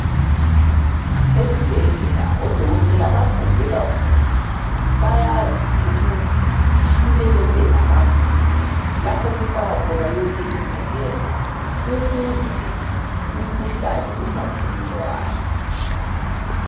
Ezibhedlela odokotela bafunde kakhulu, bayazi ukuthi kumele kube lamabhimu laph' okufakwa khona yonke ingcekeza ukuze umkhuhlane ungathelelwana.